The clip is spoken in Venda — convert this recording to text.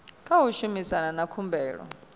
tsha u shumana na khumbelo